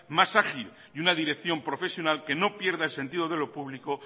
más ágil y una dirección profesional que no pierda el sentido de lo público